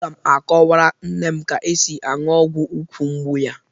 Aga m akọwara nne m ka e si aṅụ ọgwụ úkwù mgbu ya.